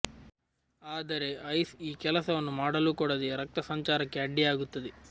ಆದರೆ ಐಸ್ ಈ ಕೆಲಸವನ್ನು ಮಾಡಲು ಕೊಡದೇ ರಕ್ತ ಸಂಚಾರಕ್ಕೆ ಅಡ್ಡಿಯಾಗುತ್ತದೆ